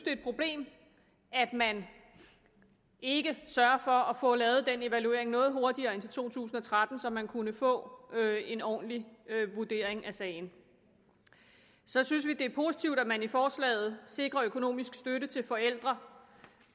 et problem at man ikke sørger for at få lavet en evaluering noget hurtigere end i to tusind og tretten så man kunne få en ordentlig vurdering af sagen så synes vi det er positivt at man i forslaget sikrer økonomisk støtte til forældre